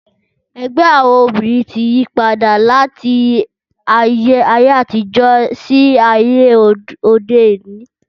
Ẹgbẹ́ àwọn obìrin tí yípadà láti ayé àtijó sí ayé òde òni